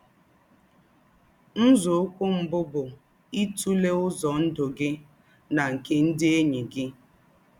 Nzòụ́kwụ́ mbù bụ́ ítụ̀lẹ́ ứzọ̀ ndụ́ gị̀ nà nkē ndí́ ènyị́ gị̀.